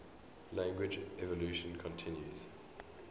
language evolution continues